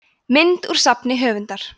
mynd úr safni höfundar